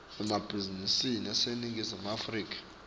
emabhizinisi eningizimu afrika